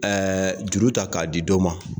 juru ta k'a di dɔ ma